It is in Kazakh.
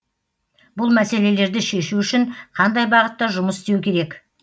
бұл мәселелерді шешу үшін қандай бағытта жұмыс істеу керек